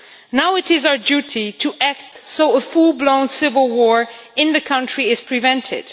Now it is our duty to act so that a full blown civil war in the country is prevented.